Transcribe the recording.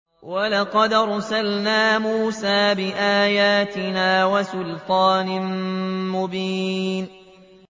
وَلَقَدْ أَرْسَلْنَا مُوسَىٰ بِآيَاتِنَا وَسُلْطَانٍ مُّبِينٍ